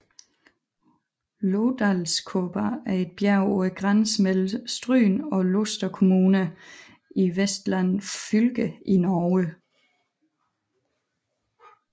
Lodalskåpa er et bjerg på grænsen mellem Stryn og Luster kommuner i Vestland fylke i Norge